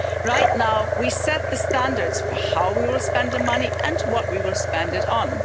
Right now we set the standards for how we will spend the money and what we will spend it on.